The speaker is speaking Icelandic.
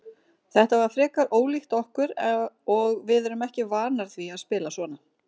Þetta var frekar ólíkt okkur og við erum ekki vanar því að spila svona.